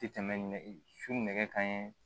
Tɛ tɛmɛ su nɛgɛ kanɲɛ